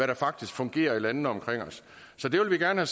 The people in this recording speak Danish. der faktisk fungerer i landene omkring os så det vil vi gerne